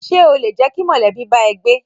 Ṣé o lè jẹ́ kí mọ̀lẹ́bí bá ẹ gbé?